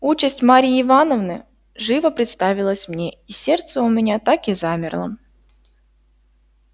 участь марьи ивановны живо представилась мне и сердце у меня так и замерло